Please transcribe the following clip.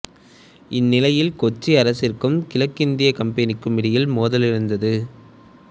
இந்நிலையில் கொச்சி அரசிற்கும் கிழக்கிந்தியக் கம்பெனிக்கும் இடையே மோதல் இருந்தது